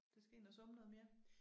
Der skal ind og summe noget mere